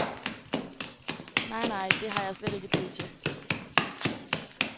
Nej, nej, det har jeg slet ikke tid til.